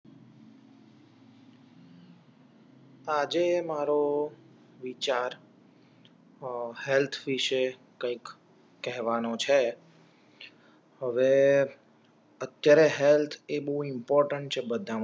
આજે મારો વિચાર હેલ્થ વિષે કઈક કહેવાનો છે હવે અત્યારે હેલ્થ એ બવ ઇમ્પોર્ટેંટ છે બધા માટે